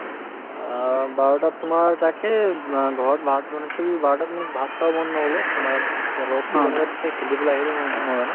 অ, বাৰটাত তোমাৰ তাকেই অ ঘৰত ভাত বনাইছিল বাৰটাত মোক ভাত খাব মন নগল অ তোমাৰ ৰদতো কেনেকে দিছে খেলিবলৈ আহিলো ম্ম মই মানে